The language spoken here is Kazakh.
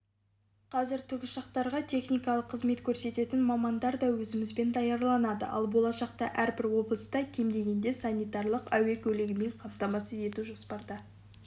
қазір тікұшақтарға техникалық қызмет көрсететін мамандар да өзімізде даярланады ал болашақта әрбір облысты кем дегенде санитарлық әуе көлігімен қамтамасыз ету жоспарда